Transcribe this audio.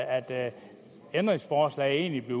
at ændringsforslaget egentlig blev